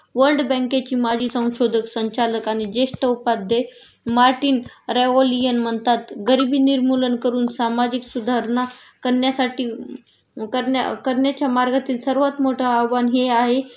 world बँकेची माजी संशोधक संचालक आणि जेष्ठ उपाध्याय मार्टिन रेवोलीअन म्हणतात गरिबी निर्मूलन करून सामाजिक सुधारणा करण्यासाठी करण्या करण्याच्या मार्गातील सर्वात मोठं आव्हान हे आहे